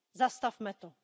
Zastavme to!